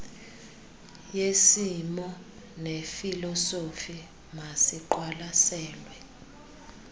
yesimo nefilosofi masiqwalasele